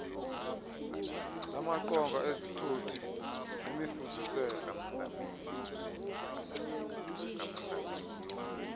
lamaqonga ezithuthi nemifuziselo